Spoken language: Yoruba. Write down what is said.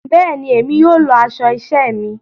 Béèni, Èmi yóò lọ aṣọ iṣẹ mí